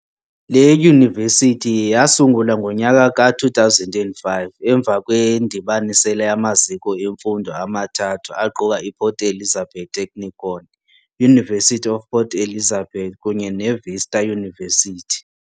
Le yunivesithi yasungulwa ngonyaka ka 2005 emva kwendibanisela yamaziko emfundo amathathu aquka i Port Elizabeth Technikon, University of Port Elizabeth kunye ne Vista University.